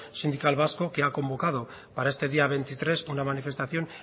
sindical vasco que ha convocado para este día veintitrés una manifestación